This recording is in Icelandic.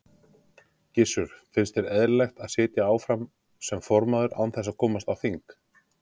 Gissur: Finnst þér eðlilegt að sitja áfram sem formaður án þess að komast á þing?